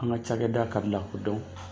An ka cakɛda kabila dɔn